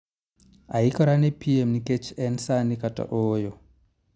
Aikora ne piem nikech en sani kata ooyo